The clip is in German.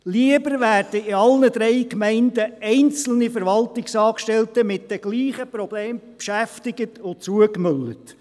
Lieber werden in allen drei Gemeinden einzelne Verwaltungsangestellte mit den gleichen Problemen beschäftigt und zugemüllt.